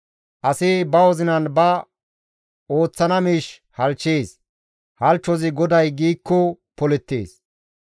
Asi ba wozinan ba ooththana miish halchchees; halchchozi GODAY giikko polettees.